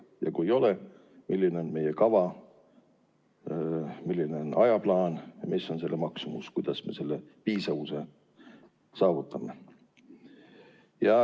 Ja kui ei ole, siis milline on meie kava, milline on ajaplaan ja mis on selle maksumus, et me selle piisavuse saavutaksime.